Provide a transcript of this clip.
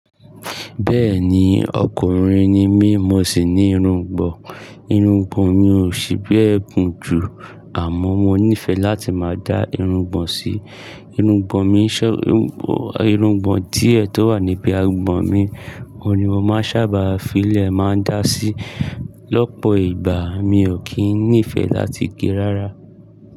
Bẹ́ẹ̀ni ọkùnrin ni mí, mo sì ní irungbọ̀n. Irungbọ̀n mi ò ṣì bẹ́ẹ̀ gùn jù, àmọ́ mo nífẹẹ láti máa dá irungbọ̀n sí. Irungbọ̀n mi ṣé, irungbọ̀n díè tó wà níbi agbọ̀n mi, òun ni mo máa ń ṣábà fi ilẹ̀ máa ń dá sí. Lọ́pọ̀ ìgbà mi ò kí nífẹẹ láti gé rárá.